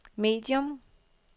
medium